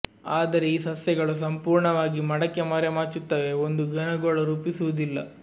ಆದರೆ ಈ ಸಸ್ಯಗಳು ಸಂಪೂರ್ಣವಾಗಿ ಮಡಕೆ ಮರೆಮಾಚುತ್ತವೆ ಒಂದು ಘನ ಗೋಳ ರೂಪಿಸುವುದಿಲ್ಲ